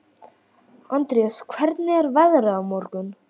Andreas, hvernig er veðrið á morgun?